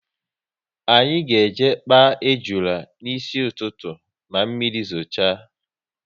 Anyị ga eje kpaa ejuna n'isi ụtụtụ, na mmiri zocha